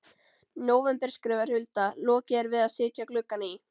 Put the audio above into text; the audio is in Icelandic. nóvember skrifar Hulda: Lokið er við að setja gluggana í.